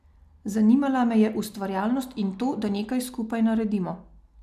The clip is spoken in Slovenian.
Zanimala me je ustvarjalnost in to, da nekaj skupaj naredimo.